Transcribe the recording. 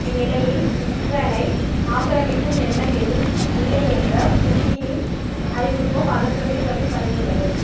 இந்நிலையில் உக்ரைனை ஆக்கிரமிக்கும் எண்ணம் ஏதும் இல்லை என்ற புதினின் அறிவிப்பு பதற்றத்தை சற்று தணித்துள்ளது